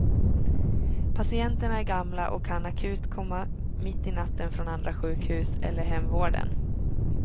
Patienterna är gamla och kan akut komma mitt i natten från andra sjukhus eller hemvården.